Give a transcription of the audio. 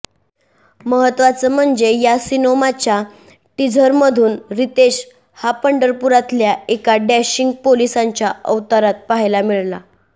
महत्त्वाचं म्हणजे या सिनोमाच्या टिझरमधून रितेश हा पंढरपूरातल्या एका डॅशिग पोलिसाच्या अवतारात पाहायला मिळला